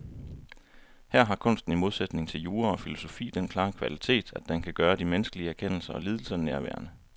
Her har kunsten i modsætning til jura og filosofi den klare kvalitet, at den kan gøre de menneskelige erkendelser og lidelser nærværende.